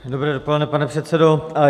Dobré dopoledne, pane předsedo.